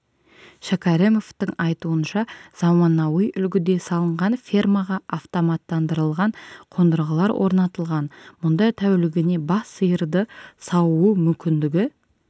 шәкәрімовтың айтуынша заманауи үлгіде салынған фермаға автоматтандырылған қондырғылар орнатылған мұнда тәулігіне бас сиырды сауу мүмкіндігі